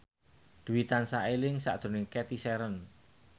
Dwi tansah eling sakjroning Cathy Sharon